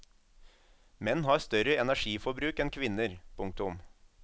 Menn har større energiforbruk enn kvinner. punktum